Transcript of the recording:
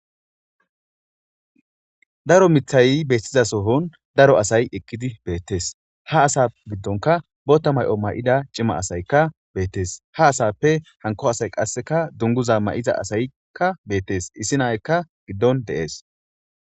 Daro miththayi betiza so'onni asayi eqidi betees.haa asa giddonkka boththa mayo mayida cima asayikka betees.haa asappe hanikko asayi qasekka duniguzza mayiza asayikka betees.issi na'aikka giddonni de'ees.